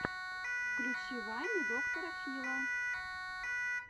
включи вайны доктора фила